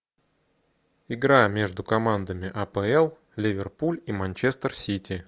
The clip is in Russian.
игра между командами апл ливерпуль и манчестер сити